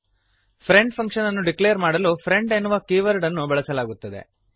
friend ಫಂಕ್ಶನ್ಅನ್ನು declare ಮಾಡಲು friend ಎನ್ನುವ ಕೀವರ್ಡ್ ಅನ್ನು ಬಳಸಲಾಗುತ್ತದೆ